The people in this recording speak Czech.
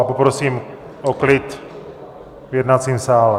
A poprosím o klid v jednacím sále.